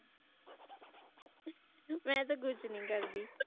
ਮੈਂ ਤਾਂ ਕੁਝ ਨਹੀਂ ਕਰਦੀ